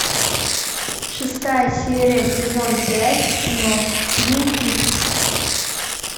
шестая серия сезон пять кино твин пикс